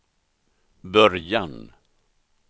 början